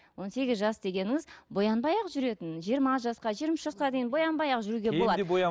он сегіз жас дегеніңіз боянбай ақ жүретін жиырма жасқа жиырма үш жасқа дейін боянбай ақ жүруге болады